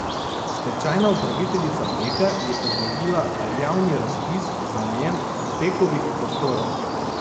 Stečajna upraviteljica Peka je objavila javni razpis za najem Pekovih prostorov.